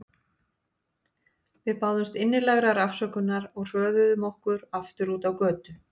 Við báðumst innilegrar afsökunar og hröðuðum okkur aftur út á götu.